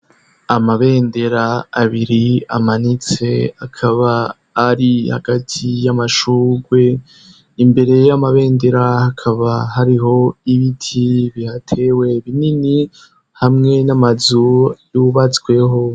Amabendera abiri amanitse akaba ari hagati y'amashurwe imbere y'amabendera hakaba hariho ibiti bihatewe binini hamwe n'amazu yubatseho.